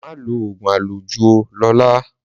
Má lo oògùn àlòjù óò Lola